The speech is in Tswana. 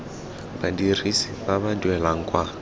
badirisi ba ba duelang kwa